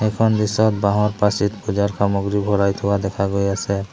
এইখন দৃশ্যত বাঁহৰ পাচিত পূজাৰ সামগ্ৰী ভৰাই থোৱা দেখা গৈ আছে।